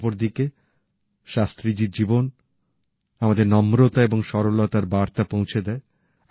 অপরদিকে শাস্ত্রীজীর জীবন আমাদের নম্রতা এবং সরলতার বার্তা পৌঁছে দেয়